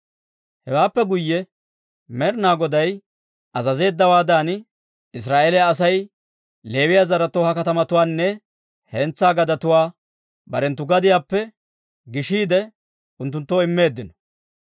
Hewaappe guyye Med'ina Goday azazeeddawaadan, Israa'eeliyaa Asay Leewiyaa zaretoo ha katamatuwaanne hentsaa gadetuwaa barenttu gadiyaappe gishiide unttunttoo immeeddino.